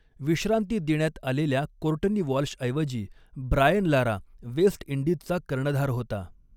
विश्रांती देण्यात आलेल्या कोर्टनी वॉल्शऐवजी ब्रायन लारा वेस्ट इंडीजचा कर्णधार होता.